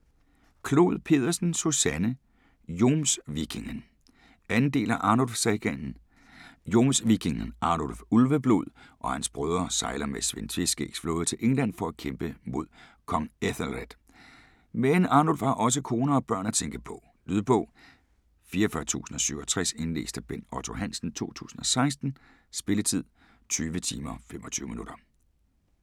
Clod Pedersen, Susanne: Jomsvikingen 2. del af Arnulf sagaen. Jomsvikingen Arnulf Ulveblod og hans blodbrødre sejler med Svend Tveskægs flåde til England for at kæmpe mod Kong Æthelred, men Arnulf har også kone og børn at tænke på. Lydbog 44067 Indlæst af Bent Otto Hansen, 2016. Spilletid: 20 timer, 25 minutter.